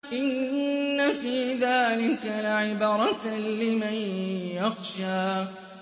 إِنَّ فِي ذَٰلِكَ لَعِبْرَةً لِّمَن يَخْشَىٰ